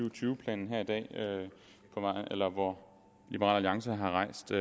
og tyve planen her i dag hvor liberal alliance har rejst